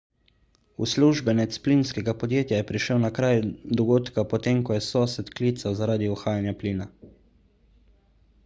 uslužbenec plinskega podjetja je prišel na kraj dogodka potem ko je sosed klical zaradi uhajanja plina